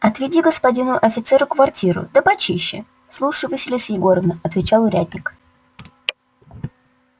отведи господину офицеру квартиру да почище слушаю василиса егоровна отвечал урядник